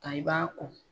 Nka i b'a ko